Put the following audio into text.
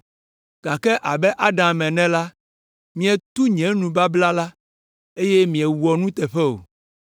gake abe Adam ene la, mietu nye nubabla la, eye miewɔ nuteƒe o.